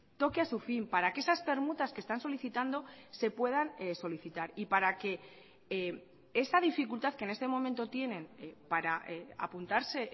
toque a su fin para que esas permutas que están solicitando se puedan solicitar y para que esa dificultad que en este momento tienen para apuntarse